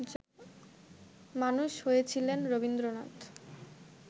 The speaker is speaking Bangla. মানুষ হয়েছিলেন রবীন্দ্রনাথ